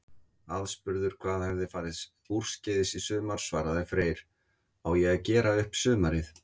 Aðspurður hvað hefði farið úrskeiðis í sumar svaraði Freyr: Á ég að gera upp sumarið?